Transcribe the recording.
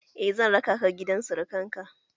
Eh, zan raka ka gidan surakan ka